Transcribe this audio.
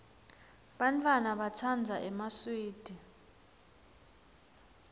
bantfwana batsandza emaswidi